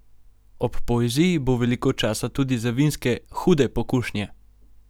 Ob poeziji bo veliko časa tudi za vinske Hude pokušnje!